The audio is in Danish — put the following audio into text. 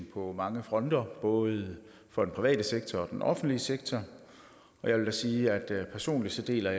på mange fronter både for den private sektor og den offentlige sektor jeg vil da sige at jeg personligt deler